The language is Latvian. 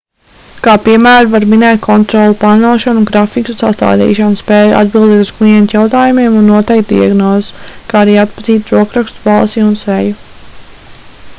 kā piemēru var minēt kontroli plānošanu un grafiku sastādīšanu spēju atbildēt uz klientu jautājumiem un noteikt diagnozes kā arī atpazīt rokrakstu balsi un seju